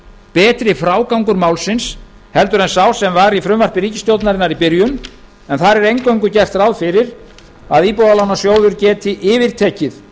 betri frágangur málsins en sá sem var í frumvarpi ríkisstjórnarinnar í byrjun en þar er eingöngu gert ráð fyrir að íbúðalánasjóður geti yfirtekið